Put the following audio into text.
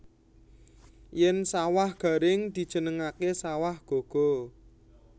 Yèn sawah garing dijenengaké sawah gaga